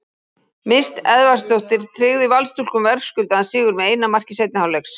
Mist Edvardsdóttir tryggði Valsstúlkum verðskuldaðan sigur með eina marki seinni hálfleiks.